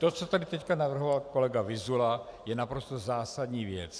To, co tady teď navrhoval kolega Vyzula, je naprosto zásadní věc.